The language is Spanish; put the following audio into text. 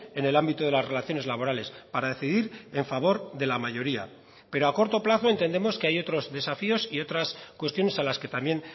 en el ámbito de las relaciones laborales para decidir en favor de la mayoría pero a corto plazo entendemos que hay otros desafíos y otras cuestiones a las que también